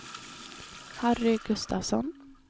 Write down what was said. Harry Gustavsson